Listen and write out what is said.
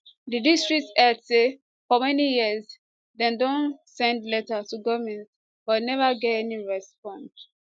di district head say for many years dem don send letters to goment but neva get any response